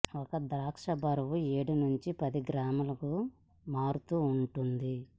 ఒక ద్రాక్ష బరువు ఏడు నుంచి పది గ్రాములు మారుతూ ఉంటుంది